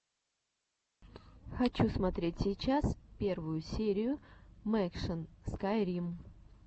хочу смотреть сейчас первую серию мэкшан скайрим